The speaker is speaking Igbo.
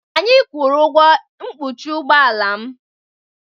Anyị kwụrụ ụgwọ mkpuchi ụgbọ ala m.